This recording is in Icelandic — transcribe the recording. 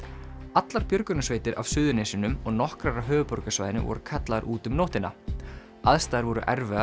allar björgunarsveitir af Suðurnesjunum og nokkrar af höfuðborgarsvæðinu voru kallaðar út um nóttina aðstæður voru erfiðar